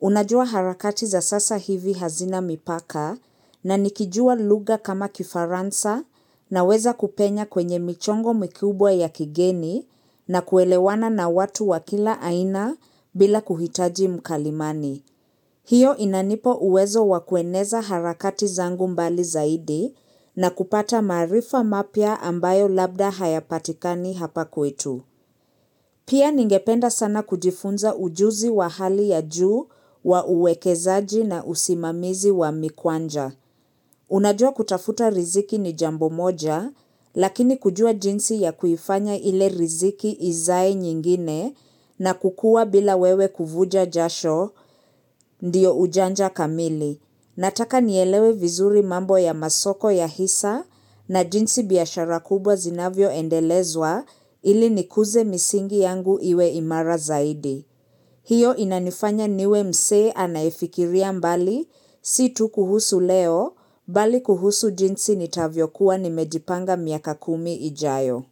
Unajua harakati za sasa hivi hazina mipaka na nikijua lugha kama kifaransa naweza kupenya kwenye michongo mikubwa ya kigeni na kuelewana na watu wa kila aina bila kuhitaji mkalimani. Hiyo inanipa uwezo wa kueneza harakati zangu mbali zaidi na kupata maarifa mapya ambayo labda hayapatikani hapa kwetu. Pia ningependa sana kujifunza ujuzi wa hali ya juu wa uwekezaji na usimamizi wa mikwanja. Unajua kutafuta riziki ni jambo moja, lakini kujua jinsi ya kuifanya ile riziki izae nyingine na kukua bila wewe kuvuja jasho, ndiyo ujanja kamili. Nataka nielewe vizuri mambo ya masoko ya hisa na jinsi biashara kubwa zinavyo endelezwa ili nikuze misingi yangu iwe imara zaidi. Hiyo inanifanya niwe msee anayefikiria mbali si tu kuhusu leo, bali kuhusu jinsi nitavyo kuwa nimejipanga miaka kumi ijayo.